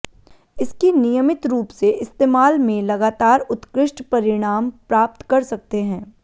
इसकी नियमित रूप से इस्तेमाल में लगातार उत्कृष्ट परिणाम प्राप्त कर सकते हैं